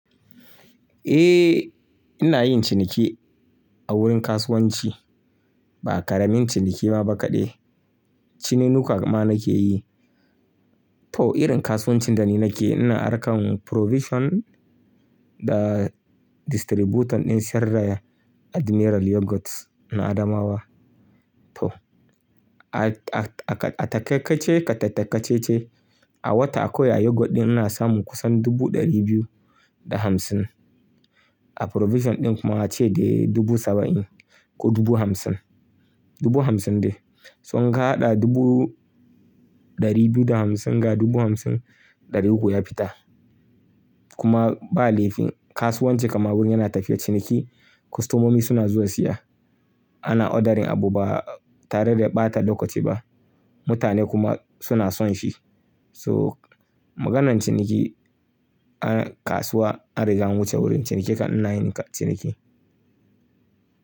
Eh ina yin ciniki a wurin kasuwanci ba ƙaramin ciniki ma ba kaɗai. Cinenuka ma nake yi. To irin kasuwancin da ni nake ina arkan provision da distributor ɗin sarraya Admiral Yogurt na Adamawa. To a takai-kace, ƙa tattakacece a wata akwai yogurt ɗin ina samun kusan dubu ɗari biyu da hamsin. A provision ɗin kuma ace da dubu saba'in ko dubu hamsin, dubu hamsin dai. Sun kaɗa dubu ɗari biyu da hamsin ga dubu hamsin ɗari uku ya fita kuma ba laifi kasuwanci kamar wuri yana tafiya ciniki. Kostomomi suna zuwa siya ana ordering abu ba tare da ɓata lokaci ba. Mutane kuma suna son shi. So maganan ciniki a kasuwa an riga wuce wurin ciniki ka ina yin ciniki.